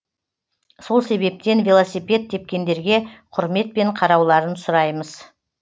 сол себептен велосипед тепкендерге құрметпен қарауларын сұраймыз